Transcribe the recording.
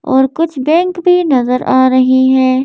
और कुछ बैंक भी नज़र आ रहे है।